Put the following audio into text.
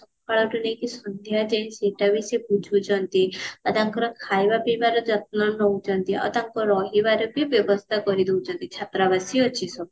ସକାଳ ରୁ ନେଇକି ସନ୍ଧ୍ଯା ଯାଏଁ ସେଇଟା ବି ସେ ବୁଝୁ ଛନ୍ତି ତବକ୍ର ଖାଇବା ପିଇବା ର ଯତ୍ନ ନଉଛନ୍ତି ଆଉ ତାଙ୍କ ରହିବାରେ ବି ବ୍ୟବସ୍ତା କରି ଦଉଛନ୍ତି ଛତ୍ରବାସୀ ଅଛି ସବୁ